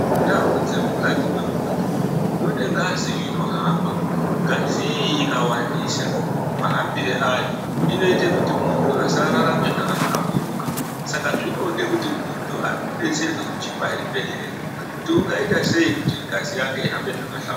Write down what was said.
Mundau dzemukati mumuntu mune ngazi inohamba ngazi iyi ikawandisa mahambiro ayo inoite kuti muntu asararame zvakahlamburuka Saka zvinode kuti muntu abetserwe kuchibhedhleya kutiwongaita sei kuti ahambe zvakahlamburuka